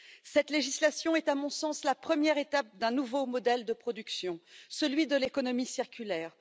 Cette législation est, à mon sens, la première étape d'un nouveau modèle de production, celui de l'économie circulaire.